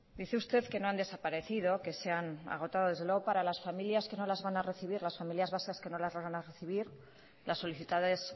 dice usted que no han desaparecido que se han agotado desde luego para las familias vascas que no las van a recibir las solicitadas